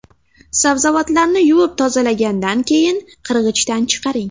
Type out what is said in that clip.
Sabzavotlarni yuvib tozalagandan keyin qirg‘ichdan chiqaring.